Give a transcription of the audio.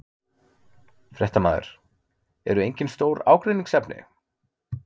Fréttamaður: Eru engin stór ágreiningsefni?